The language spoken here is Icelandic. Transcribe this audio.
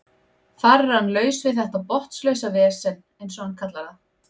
Þar er hann laus við þetta botnlausa vesen eins og hann kallar það.